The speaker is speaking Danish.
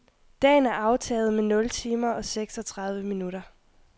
Dagen er aftaget med nul timer og seksogtredive minutter.